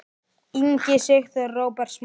Ingi Sigþór og Róbert Smári.